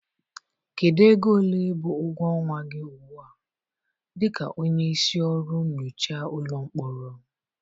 Kedu ego ole bụ ụgwọ ọnwa gị ugbu a dị ka onye isi ọrụ nyocha ụlọ mkpọrọ?